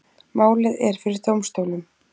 Málið er fyrir dómstólum